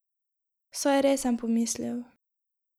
Saj res, sem pomislil.